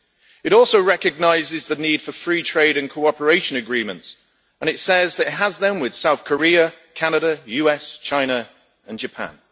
It also recognises the need for free trade and cooperation agreements and says that it has them with South Korea, Canada, the US, China and Japan.